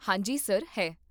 ਹਾਂ ਜੀ, ਸਰ, ਹੈ